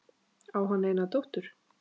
Á hann eina dóttur.